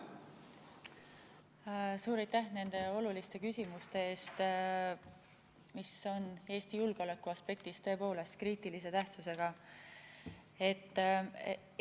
Suur aitäh nende oluliste küsimuste eest, mis on Eesti julgeoleku aspektist tõepoolest kriitilise tähtsusega!